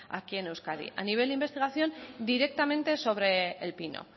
aquí en euskadi a nivel de investigación directamente sobre el pino